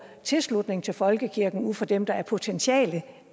tilslutningen til folkekirken ud fra dem der er potentielle